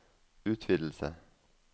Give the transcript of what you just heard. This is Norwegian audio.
utvidelse